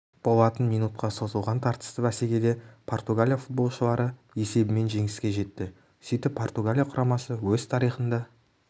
болатын минутқа созылған тартысты бәсекеде португалия футболшылары есебімен жеңіске жетті сөйтіп португалия құрамасы өз тарихында